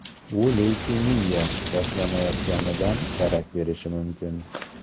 Bu leykemiya boshlanayotganidan darak berishi mumkin.